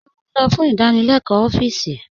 Ṣé ó n'ọ̀ fún ìdánílẹ̀kọ̀ ọfíìsí?